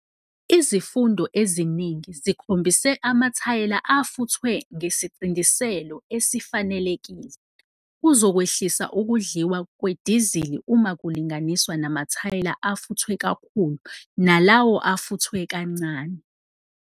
Izifundo eziningi zikhombise amathayela afuthwe ngesicindiselo esifanekele kuzokwehlisa ukudliwa kwedizili uma kulinganiswa namathayeli afuthwe kakhulu nalawo afuthwe kancane.